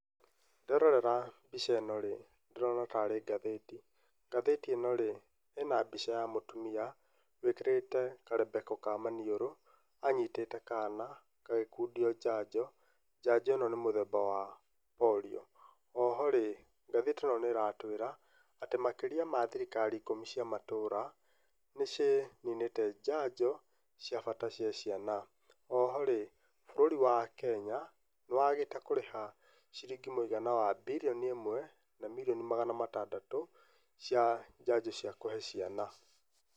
Nderorera mbica ĩno rĩ, ndĩrona tarĩ ngathĩti. Ngathĩti ĩno rĩ, ĩna mbica ya mũtumia, wĩkĩrĩte karembeko ka maniũrũ, anyitĩte kana, gagĩkundio njanjo. Njanjo ĩno nĩ mũthemba wa Polio. Oho rĩ, ngathĩti ĩno nĩĩratwĩra, atĩ makĩria ma thirikari ikũmi cia matũũra, nĩciĩimĩte njanjo cia bata cia ciana. Oho rĩ, bũrũri wa Kenya, nĩwagĩte kũrĩha, ciringi mũigana wa birioni ĩmwe, na mirioni magana matandatũ, cia njanjo cia kũhee ciana.